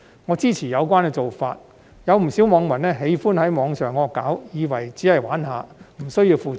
我支持有關做法，有不少網民喜歡在網上"惡搞"，以為只是玩玩而已，無需要負責任。